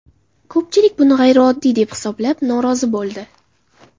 Ko‘pchilik buni g‘ayrioddiy deb hisoblab, norozi bo‘ldi.